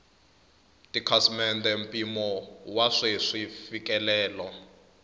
tikhasimende mpimo wa sweswi mfikelelo